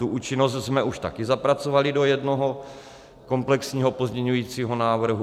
Tu účinnost jsme už taky zapracovali do jednoho komplexního pozměňovacího návrhu.